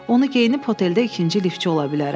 Onu geyinib oteldə ikinci liftçi ola bilərəm.